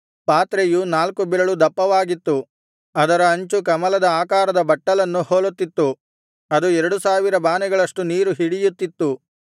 ಪಾತ್ರೆಯು ನಾಲ್ಕು ಬೆರಳು ದಪ್ಪವಾಗಿತ್ತು ಅದರ ಅಂಚು ಕಮಲದ ಆಕಾರದ ಬಟ್ಟಲನ್ನು ಹೋಲುತ್ತಿತ್ತು ಅದು ಎರಡು ಸಾವಿರ ಬಾನೆಗಳಷ್ಟು ನೀರು ಹಿಡಿಯುತ್ತಿತ್ತು